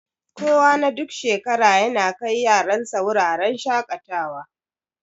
Kuwa na duk shekara yana kai yaran sa wuraren shaƙatawa.